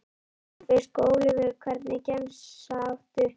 Túnfisk og ólívur Hvernig gemsa áttu?